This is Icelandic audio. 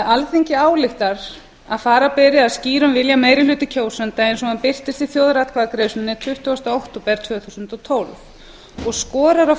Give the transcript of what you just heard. alþingi ályktar að fara beri að skýrum vilja meiri hluta kjósenda eins og hann birtist í þjóðaratkvæðagreiðslunni tuttugasta október tvö þúsund og tólf og skorar á